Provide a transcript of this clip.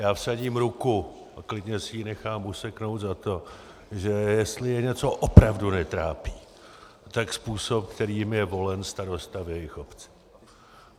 Já vsadím ruku a klidně si ji nechám useknout za to, že jestli je něco opravdu netrápí, tak způsob, kterým je volen starosta do jejich obce.